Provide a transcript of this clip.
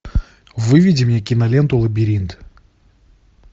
выведи мне киноленту лабиринт